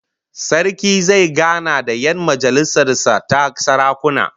Sarki zai gana da 'yan majalisar sa ta sarakuna